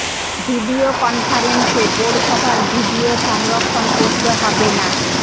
video কনফারেন্সে board সভার video সংরক্ষণ করতে হবে না